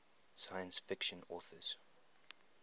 science fiction authors